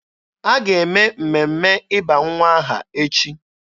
A ga-eme mmemme ịba nwa aha echi.